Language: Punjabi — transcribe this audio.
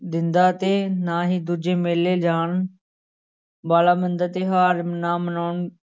ਦਿੰਦਾ ਤੇ ਨਾ ਹੀ ਦੂਜੇ ਮੇਲੇ ਜਾਣ ਵਾਲਾ ਹੁੰਦਾ, ਤਿਉਹਾਰ ਨਾ ਮਨਾਉਣ